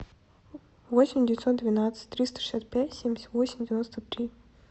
восемь девятьсот двенадцать триста шестьдесят пять семьдесят восемь девяносто три